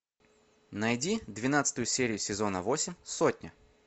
найди двенадцатую серию сезона восемь сотня